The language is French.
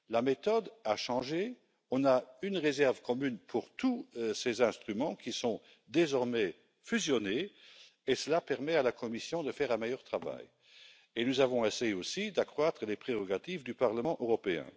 La méthode a changé, on a une réserve commune pour tous ces instruments, qui sont désormais fusionnés, et cela permet à la Commission de faire un meilleur travail. Nous avons essayé aussi d'accroître les prérogatives du Parlement européen.